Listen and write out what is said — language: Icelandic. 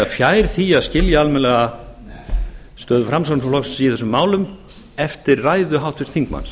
fjær því að skilja almennilega stöðu framsóknarflokksins í þessum málum eftir ræðu háttvirts þingmanns